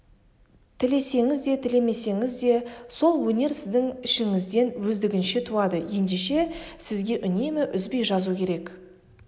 тілесеңіз де тілемесеңіз де сол өнер сіздің ішіңізден өздігінше туады ендеше сізге үнемі үзбей жазу керек